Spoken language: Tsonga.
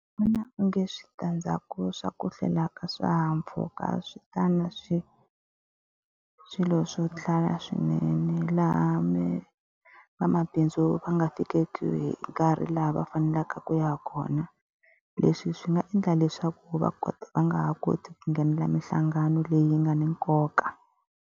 Ndzi vona onge switandzhaku swa ku hlwela ka swihahampfhuka swi ta na swilo swo tala swinene, laha vamabindzu so va nga fikeki hi nkarhi laha va faneleke ku ya kona. Leswi swi nga endla leswaku va va nga ha koti ku nghenela minhlangano leyi nga na nkoka.